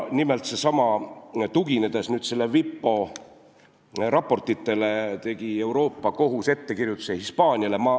Nimelt, tuginedes WIPO raportitele, tegi Euroopa Kohus ettekirjutuse Hispaaniale.